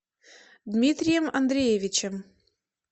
дмитрием андреевичем